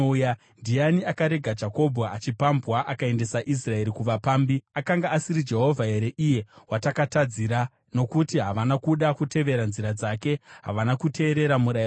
Ndiani akarega Jakobho achipambwa, akaendesa Israeri kuvapambi? Akanga asiri Jehovha here, iye watakatadzira? Nokuti havana kuda kutevera nzira dzake; havana kuteerera murayiro wake.